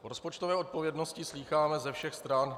O rozpočtové odpovědnosti slýcháme ze všech stran.